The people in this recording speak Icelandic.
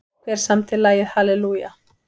Hver samdi lagið Hallelujah?